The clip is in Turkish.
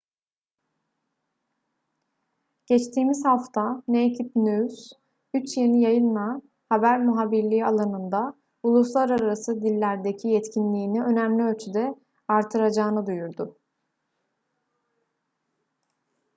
geçtiğimiz hafta naked news üç yeni yayınla haber muhabirliği alanında uluslararası dillerdeki yetkinliğini önemli ölçüde artıracağını duyurdu